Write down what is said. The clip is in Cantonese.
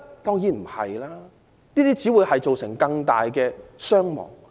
當然不是，這只會造成更大傷亡。